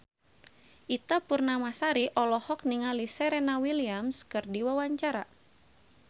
Ita Purnamasari olohok ningali Serena Williams keur diwawancara